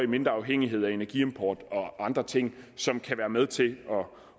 mindre afhængighed af energiimport og andre ting som kan være med til